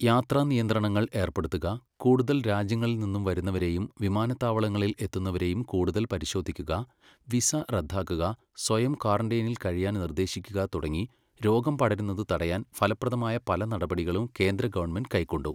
യാത്രാ നിയന്ത്രണങ്ങൾ ഏർപ്പെടുത്തുക, കൂടുതൽ രാജ്യങ്ങളിൽ നിന്നും വരുന്നവരെയും വിമാനത്താവളങ്ങളിൽ എത്തുന്നവരെയും കൂടുതൽ പരിശോധിക്കുക, വിസ റദ്ദാക്കുക, സ്വയം ക്വാറന്റൈനിൽ കഴിയാൻ നിർദ്ദേശിക്കുക തുടങ്ങീ രോഗം പടരുന്നത് തടയാൻ ഫലപ്രദമായ പല നടപടികളും കേന്ദ്ര ഗവണ്മെന്റ് കൈക്കൊണ്ടു.